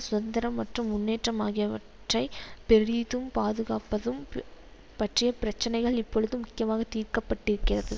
சுந்தரம் மற்றும் முன்னேற்றம் ஆகியவற்றை பெறிதும் பாதுகாப்பதும் பற்றிய பிரச்சனைகள் இப்பொழுது முக்கியமாக தீர்க்கப்பட்டிருக்கிறது